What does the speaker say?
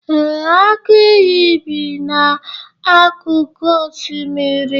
ee, agụ iyi bi n'akụkụ osimiri